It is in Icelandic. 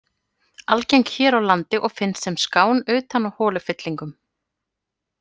Algeng hér á landi og finnst sem skán utan á holufyllingum.